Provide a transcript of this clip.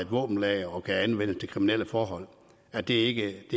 våbenlager er det ikke